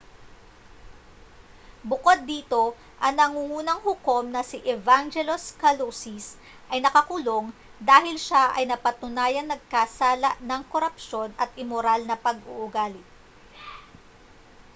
bukod dito ang nangungunang hukom na si evangelos kalousis ay nakakulong dahil siya ay napatunayang nagkasala ng korupsyon at imoral na pag-uugali